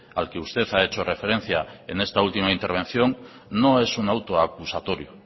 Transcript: al que usted ha hecho referencia en esta última intervención no es un auto acusatorio